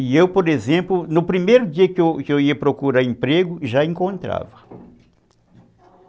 E eu, por exemplo, no primeiro dia que eu ia procurar emprego, já encontrava.